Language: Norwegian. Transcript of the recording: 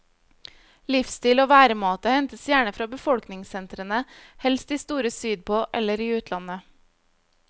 Livsstil og væremåte hentes gjerne fra befolkningssentrene, helst de store sydpå eller i utlandet.